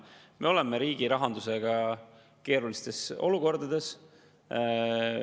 Me oleme riigi rahandusega keerulises olukorras.